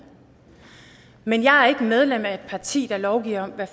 men jeg er ikke medlem af et parti der lovgiver om hvad